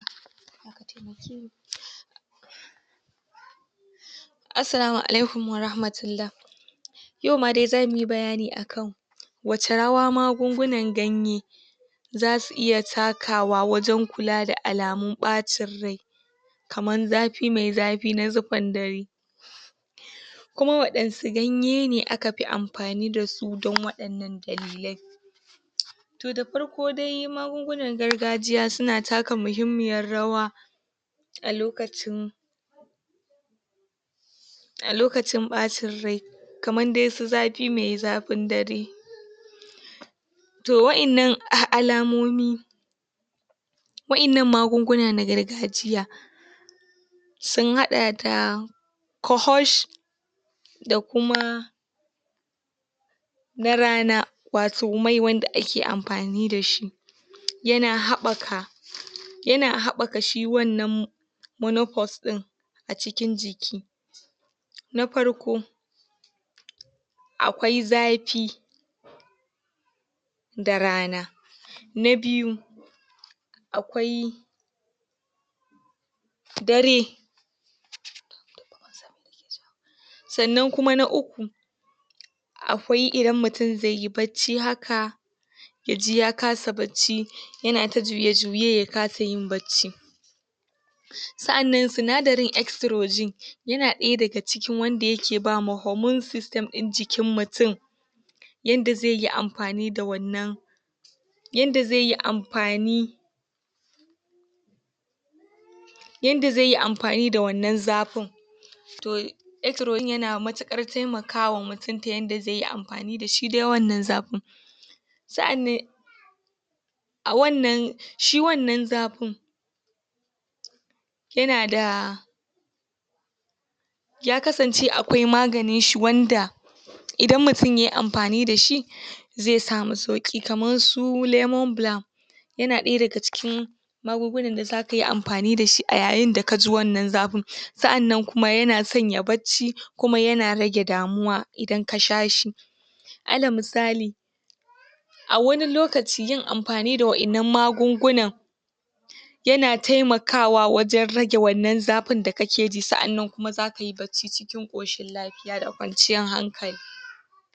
Asslamu alaikum warahmatullah Yau ma zamuyi bayani akan wa ce rawa magungunan ganye za su iya takawa wajen kula da alamun ɓacin rai, kamar zafi mai zafi na zufar dare, kuma waɗanne ganye aka fi amfani da su don waɗannan dalilai. To da farko dai magungunan gargajiya su na taka muhimmiyar rawa a lokacin a lokacin ɓacin rai, kamar dai su zafi mai zafin dare, to waɗannan alamomi waɗannan magunguna na gargajiya sun haɗa da corfors, da kuma na rana wato mai wanda ake amfani da shi ya na haɓaka yana haɓaka shi wannan monopors ɗin a cikin jiki, na farko: Akwai zafi da rana, na biyu: A kwai dare. Sannan kuma na uku: Akwai idan mutum zai yi bacci haka, ya ji ya kasa bacci ya na ta juye-juye ya kasa yin bacci, sa'annan sinadarin extrogene ya na ɗaya daga cikin wanda yake ba ma hormone system ɗin jikin mutum yanda zai yi amfani da wannan yanda zai yi amfani, yanda zai yi amfani da wannan zafin, to extrogene ya na matuƙar taimakawa mutum ta yadda zai yi amfani da shi dai wannan zafin, sa'annan a wannnan shi wannan zafin ya na da ya kasance akwai maganinshi wanda idan mutum yai amfani da shi zai samu sauƙi kamar su lemon balm ya na ɗaya daga cikin magungunan da za ka yi amfani da shi a yayin da ka ji wannan zafin, saa'annan kuma ya na sanya bacci kuma ya na rage damuwa idan ka sha shi, alal misali: A wani lokaci yin amfani da waɗannan magungunan ya na taimakawa wajen rage wannan zafin da ka ke ji, sa'annan kuma za ka yi bacci cikin ƙoshin lafiya da kwanciyar hankali.